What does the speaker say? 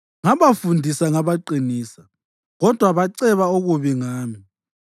Ngabafundisa ngabaqinisa, kodwa baceba okubi ngami.